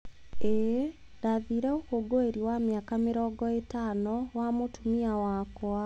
ĩĩ, ndathiire ũkũngũĩri wa mĩaka mĩrongo ĩtano wa mũtumia wakwa.